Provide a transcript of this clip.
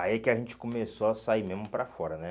Aí que a gente começou a sair mesmo para fora, né?